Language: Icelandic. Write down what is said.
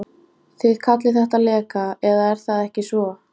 Þið kallið þetta leka, eða er það ekki svo.